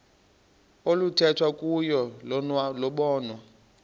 oluthethwa kuyo lobonwa